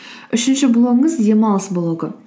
үшінші блогыңыз демалыс блогы